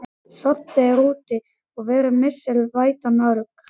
Sorti er úti og verið vissir vætan örg.